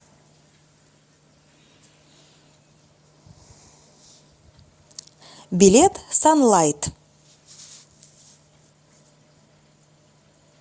билет санлайт